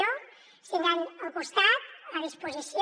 ens tindran al costat a disposició